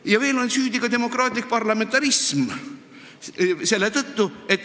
Ja veel on süüdi demokraatlik parlamentarism.